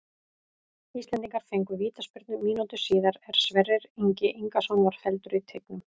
Íslendingar fengu vítaspyrnu mínútu síðar er Sverrir Ingi Ingason var felldur í teignum.